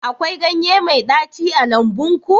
akwai ganye mai ɗaci a lambun ku